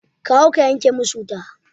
Ka hau ka yanke musu wuta